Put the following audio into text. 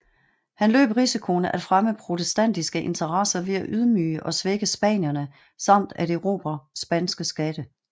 Han løb risikoen at fremme protestantiske interesser ved at ydmyge og svække spanierne samt at erobre spanske skatte